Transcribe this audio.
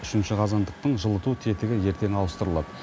үшінші қазандықтың жылыту тетігі ертең ауыстырылады